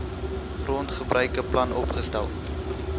grondgebruike plan opgestel